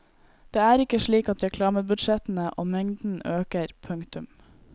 Det er ikke slik at reklamebudsjettene og mengden øker. punktum